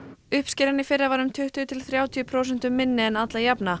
uppskeran í fyrra var um tuttugu til þrjátíu prósentum minni en alla jafna